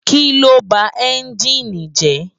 Kiló bá ènjini jè?